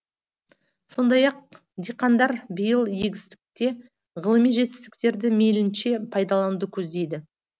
сондай ақ диқандар биыл егістікте ғылыми жетістіктерді мейілінше пайдалануды көздейді